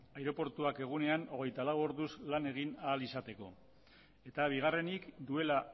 aireportua egunean hogeita lau orduz lan egin ahal izateko eta bigarrenik duela